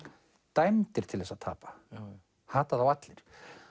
dæmdir til þess að tapa hata þá allir